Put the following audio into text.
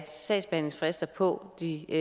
sagsbehandlingsfrister på det